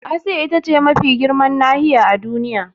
Asiya ita ce mafi girman nahiya a Duniya.